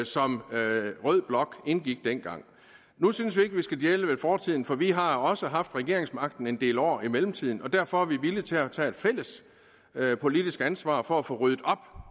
som rød blok indgik dengang nu synes vi ikke vi skal dvæle ved fortiden for vi har også haft regeringsmagten en del år i mellemtiden og derfor er vi villige til at tage et fælles politisk ansvar for at få ryddet op